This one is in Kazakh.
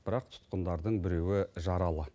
бірақ тұтқындардың біреуі жаралы